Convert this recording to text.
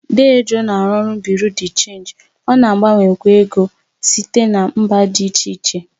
Dee Joe na-arụ ọrụ Bị́yurị́ dé Chénji, ọ na-agbanwekwa ego site na mba dị iche iche,